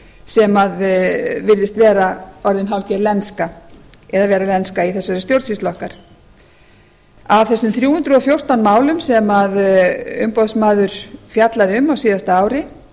sem virðist vera orðin hálfgerð lenska eða vera lenska í þessari stjórnsýslu okkar af þessum þrjú hundruð og fjórtán málum sem umboðsmaður fjallaði um á síðasta ári